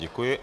Děkuji.